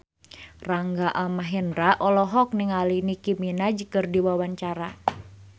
Rangga Almahendra olohok ningali Nicky Minaj keur diwawancara